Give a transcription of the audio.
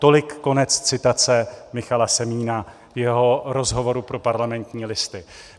Tolik konec citace Michala Semína v jeho rozhovoru pro Parlamentní listy.